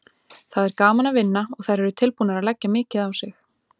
Það er gaman að vinna og þær eru tilbúnar að leggja mikið á sig.